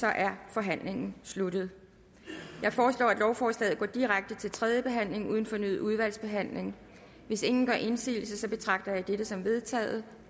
er forhandlingen sluttet jeg foreslår at lovforslaget går direkte til tredje behandling uden fornyet udvalgsbehandling hvis ingen gør indsigelse betragter jeg dette som vedtaget